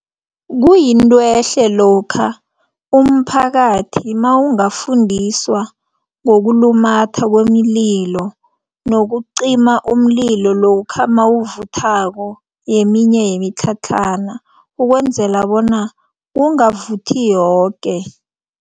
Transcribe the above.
Kuyinto ehle lokha umphakathi mawungafundiswa ngokulumatha kwemililo nokucima umlilo lokha mawuvuthako yeminye yemitlhatlhana ukwenzela bona kungavuthi yoke.